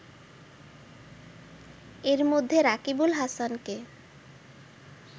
এর মধ্যে রাকিবুল হাসানকে